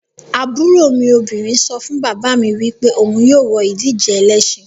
Aburo mi obinrin so fun baba mi wipe ohun yoo wo idije elesin